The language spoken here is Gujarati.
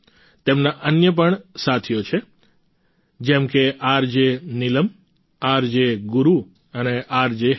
તેમના અન્ય પણ સાથીઓ છે જેમ કે આરજે નિલમ આરજે ગુરુ અને આરજે હેતલ